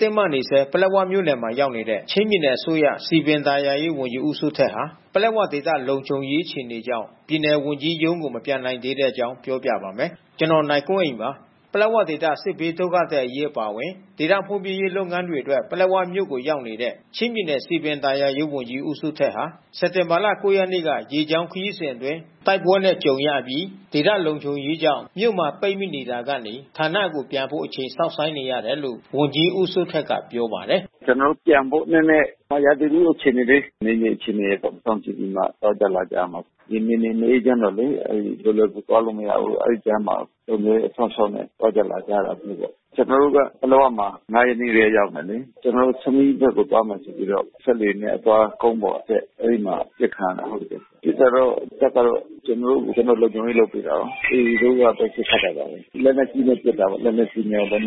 တင်းမာနေဆဲ ပလက်ဝမြို့နယ်မှာ ရောက်နေတဲ့ ချင်းပြည်နယ်အစိုးရ စည်ပင်သာယာရေး ဝန်ကြီး ဦးစိုးထက်ဟာ ပလက်ဝဒေသလုံခြုံရေး အခြေအနေကြောင့် ပြည်နယ်ဝန်ကြီးရုံးကို မပြန်နိုင်သေးတဲ့အကြောင်းကို ဗွီအိုအေမြန်မာပိုင်းသတင်းထောက် ကိုနိုင်ကွန်းအိန်က ပြောပြပါမယ်။ ပလက်ဝဒေသ စစ်ဘေးဒုက္ခသည်အရေးအပါအဝင် ဒေသဖွံ့ဖြိုးရေးလုပ်ငန်းတွေအတွက် ပလက်ဝမြို့ကို ရောက်နေတဲ့ ချင်းပြည်နယ် စည်ပင်သာယာရေးဝန်ကြီး ဦးစိုးထက်ဟာ စက်တင်ဘာ ၉ ရက်နေ့က ရေကြောင်းခရီးစဉ်အတွင်း တိုက်ပွဲနဲ့ကြုံရအပြီး ဒေသလုံခြုံရေးကြောင့် မြို့မှာ ပိတ်မိနေတာကနေဌာနကို ပြန်ဖို့ အချိန်စောင့်ဆိုင်းနေတယ်လို့ ဝန်ကြီးဦးစိုးထက်က ပြောပါတယ်။ "ကျနော်တို့ ပြန်ဖို့ နည်းနည်း ရာသီဥတုအခြေအနေလေး နယ်မြေအခြေအနေတွေပေါ့။ စောင့်ကြည့်ပြီးမှ နောက်ကျမှပြန်ရမှာပေါ့။ ဒီနယ်မြေ မအေးချမ်းတော့လေ... အဲဒီသွားလို့ မရဘူး။ အဲဒီကြားမှာ လုံခြုံရေးရေး စောင့်ရှောက်နဲ့ သွားမှရတာမျိုးပေါ့။ ကျနော်တို့က ပလက်ဝမှာ ဆမီးဘက်ကိုသွားမယ်ဆိုပြီးတော့ စက်လှေနဲ့ အသွားကုန်းပေါ်အတက် အဲဒီမှာ အပစ်ခံရတာ။ ပစ်တာတော့ တပ်ကတော့ ကျနော်တို့ကို လုံခြုံရေးလုပ်ပေးတာကိုး။ AA တို့ကပဲ ပစ်ခတ်တယ်။ ပစ်တာတော့လက်နက်ကြီးနဲ့ လက်နက်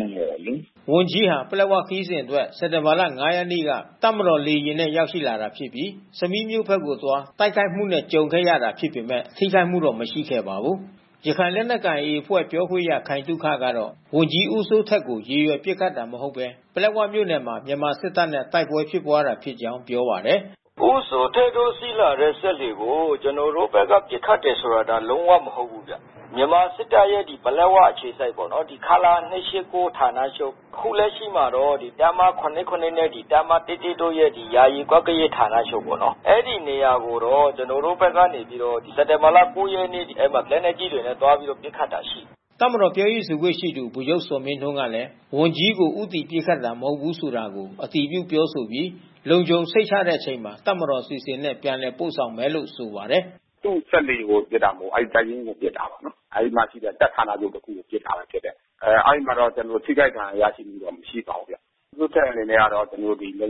ငယ်နဲ့လေ။" ဝန်ကြီးဟာ ပလက်ဝခရီးစဉ်အတွက် စက်တင်ဘာ ၅ ရက်နေ့က တပ်မတော်လေယာဉ်နဲ့ ရောက်လာတာဖြစ်ပြီး ဆမီးမြို့ဘက်ကို အသွားမှာ တိုက်ခိုက်မှုနဲ့ ကြုံခဲ့တာဖြစ်ပေမဲ့ ထိခိုက်မှုတော့ မရှိခဲ့ပါဘူး။ ရခိုင်လက်နက်ကိုင် AA အဖွဲ့ပြောခွင့်ရ ခိုင်သုခကတော့ ဝန်ကြီးဦးစိုးထက်ကို ရည်ရွယ်ပစ်ခတ်တာမဟုတ်ဘဲ ပလက်ဝမြို့နယ်မှာ မြန်မာစစ်တပ်နဲ့ တိုက်ပွဲဖြစ်ပွါးတာဖြစ်ကြောင်းပြောပါတယ်။ "ဦးစိုးထက်တို့ စီးလာတဲ့စက်လှေကို ကျနော်တို့ဘက်က ပစ်ခတ်တယ်ဆိုတာ လုံးဝမဟုတ်ဘူးဗျ။ မြန်မာစစ်တပ်ရဲ့ ပလက်၀ အခြေစိုက်ပေါ့နော်။ ခလရ ဌာနချုပ် အခုလက်ရှိမှာတော့ တပ်မ နဲ့ တပ်မ တို့ရဲ့ ယာယီကွပ်ကဲရေး ဌာနချုပ်ပေါ့နော်။ အဲဒီနေရာကိုတော့ ကျနော်တို့ဘက်ကနေပြီးတော့ စက်တင်ဘာလ ၉ ရက်နေ့က လက်နက်ကြီးတွေနဲ့ အဲဒီမှာ သွားရောက်ပစ်ခတ်တာရှိတယ်။ တပ်မတော်ပြောရေးဆိုခွင့်ရှိသူ ဗိုလ်ချုပ်ဇော်မင်းထွန်းကလည်း ဝန်ကြီးကို ဦးတည်ပစ်ခတ်တာ မဟုတ်ဘူးဆိုတာကို အတည်ပြုပြောဆိုပြီး လုံခြုံစိတ်ချတဲ့အချိန်မှာ တပ်မတော်အစီအစဉ်နဲ့ ပြန်ပို့ဆောင်မယ်လို့ ဆိုပါတယ်။ "သူ့စက်လှေကို ပစ်တာမဟုတ်ဘူးဗျ။ အဲဒီတပ်ရင်းကို ပစ်တာ။ အဲဒီမှာရှိတဲ့ တပ်ဌာနချုပ်ကို့ AA ပစ်တာဖြစ်တယ်။ အဲဒီမှာတော့ ကျနော်တို့ ထိခိုက်ဒဏ်ရာရမှုတော့ မရှိပါဘူး။ ဦးစိုးထက်အနေနဲ့ကတော့ လုံခြုံစိတ်ချရ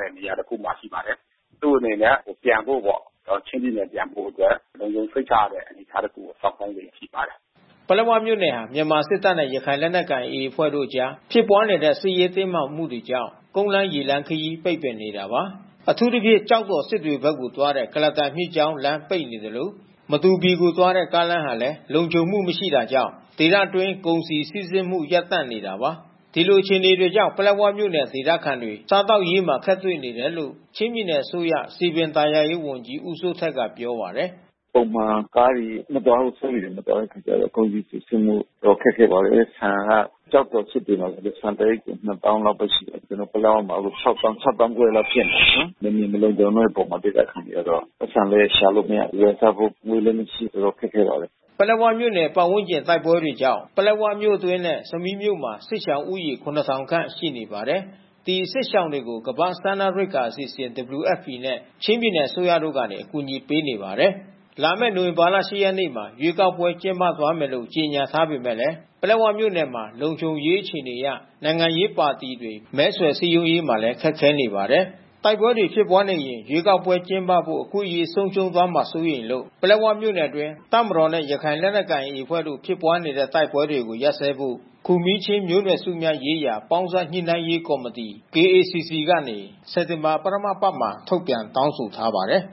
တဲ့ နေရာ တခုမှာရှိပါတယ်။ သူ့အနေနဲ့ ပြန်ဖို့ပေါ့။ ချင်းပြည်နယ်ပြန်ဖို့အတွက် လုံခြုံစိတ်ချရတဲ့အနေအထားတခုကို စောင့်ဆိုင်းလျက် ရှိပါတယ်။” ပလက်ဝမြို့နယ်ဟာ မြန်မာစစ်တပ်နဲ့ ရခိုင်လက်နက်ကိုင် AA အဖွဲ့တို့အကြား ဖြစ်ပွါးနေတဲ့ စစ်ရေးတင်းမာမငတွေကြောင့် ကုန်းလမ်း၊ ရေလမ်းခရီး ပိတ်ပင်နေတာပါ။ အထူးသဖြင့် ကျောက်တော်၊ စစ်တွေဘက်ကိုသွားတဲ့ ကုလားတန်မြစ်ကြောင်း လမ်းပိတ်ပင်နေသလို မတူပီကို သွားတဲ့ ကားလမ်းဟာလည်း လုံခြုံမှု မရှိတာကြောင့် ဒေသအတွင်းကုန်စည်စီးဆင်းမှု ရပ်တန့်နေတာပါ။ ဒီလိုအခြေအနေတွေကြောင့် ပလက်ဝမြို့နယ်ဒေသခံတွေ စားသောက်ရေးမှာ အခက်တွေ့နေတယ်လို့ ချင်းပြည်နယ်အစိုးရ စည်ပင်သာယာရေး ဝန်ကြီး ဦးစိုးထက်ပြောပါတယ်။ “ပုံမှန်ကားတွေ မသွား စက်လှေတွေ မသွားဘူးဆိုရင် ကုန်စည်စီးဆင်းမှု အတော်ခက်ခဲပါတယ်။ ဆန်က ကျောက်တော် စစ်တွေမှာဆို ဆန်တအိတ်ကို ၂၀,၀၀၀ လောက်ပဲ ရှိပါတယ်။ ကျနော်တို့ ပလက်ဝမှာဆို ၆၀,၀၀၀၊ ၆၅,၀၀၀ လောက်ဖြစ်နေတယ်။ နယ်မြေမလုံခြုံတဲ့အပေါ် ဒေသခံတွေက ပိုက်ဆံလည်း ရှာလို့မရ။ ဝယ်စားဖို့ ငွေလည်း မရှိ။ တော်တော် ခက်ခဲပါတယ်။" ပလက်ဝမြို့နယ် ပတ်ဝန်းကျင် တိုက်ပွဲတွေကြောင့် ပလက်ဝမြို့အတွင်းနဲ့ ဆမီးမြို့မှာ စစ်ရှောင်ဦးရေ ၇,၀၀၀ ခန့်ရှိနေပါတယ်။ ဒီစစ်ရှောင်တွေကို ကမ္ဘာ့စားနပ်ရိက္ခာအစီအစဉ် WFP နဲ့ ချင်းပြည်နယ် အစိုးရတို့ကနေ အကူအညီပေးနေပါတယ်။ လာမယ့် နိုဝင်ဘာ ၈ ရက်မှာ ရွေးကောက်ပွဲ ကျင်းပသွားမယ်လို့ ကြေညာထားပေမဲ့ ပလက်ဝမြို့နယ်မှာ လုံခြုံရေးအခြေအနေအရ နိုင်ငံရေးပါတီတွေ မဲဆွယ်စည်းရုံးရေးမှာလည်း ခက်ခဲနေပါတယ်။ တိုက်ပွဲတွေဖြစ်ပွါးနေရင် ရွေးကောက်ပွဲကျင်းပဖို့ အခွင့်အရေးဆုံးရှုံးသွားမှာ စိုးရိမ်လို့ ပလက်ဝမြို့နယ်အတွင်း တပ်မတော်နဲ့ ရခိုင်လက်နက်ကိုင် AA အဖွဲ့တို့ တိုက်ပွဲတွေကို ရပ်စဲဖို့ ခူမီးချင်းမျိုးနွယ်စုများရေးရာ ပေါင်းစပ်ညှိနှိုင်းရေး ကောင်စီ ကနေ စက်တင်ဘာ ပထမအပတ်မှာ ထုတ်ပြန်တောင်းဆိုထားပါတယ်